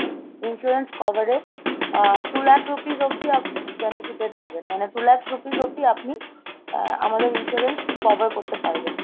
insurance coverএ uh two lakh rupees অবধি আপ~ benefited হবেন, মানে two লাখ rupees অব্দি আপনি আহ আমাদের insurance cover করতে পারবেন।